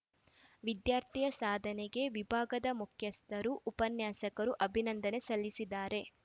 ವಿದ್ಯಾರ್ಥಿಯ ಸಾಧನೆಗೆ ವಿಭಾಗದ ಮುಖ್ಯಸ್ಥರು ಉಪನ್ಯಾಸಕರು ಅಭಿನಂದನೆ ಸಲ್ಲಿಸಿದ್ದಾರೆ